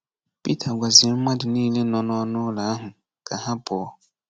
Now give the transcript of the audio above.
Pita gwaziri mmadụ niile nọ n’ọnụụlọ ahụ ka ha pụọ.